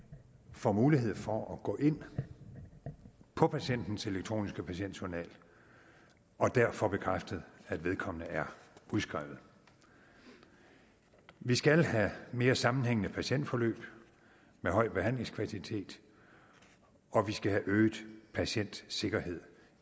får mulighed for at gå ind på patientens elektroniske patientjournal og dér får bekræftet at vedkommende er udskrevet vi skal have mere sammenhængende patientforløb med høj behandlingskvalitet og vi skal have øget patientsikkerhed